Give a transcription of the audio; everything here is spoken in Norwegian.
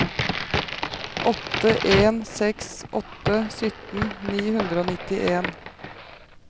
åtte en seks åtte sytten ni hundre og nittien